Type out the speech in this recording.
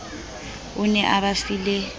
o ne a ba file